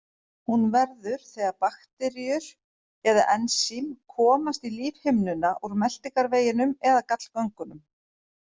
Hún verður þegar bakteríur eða ensím komast í lífhimnuna úr meltingarveginum eða gallgöngunum.